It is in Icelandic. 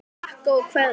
Þau þakka og kveðja.